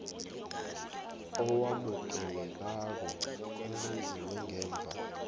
owamukelekako owenziwe ngemva